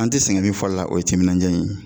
An tɛ sɛgɛn min fɔ la o ye timinandiya ye